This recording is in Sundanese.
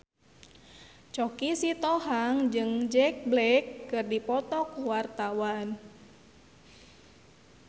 Choky Sitohang jeung Jack Black keur dipoto ku wartawan